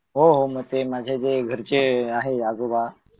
हो हो मग ते माझे घरचे आहे आजोबा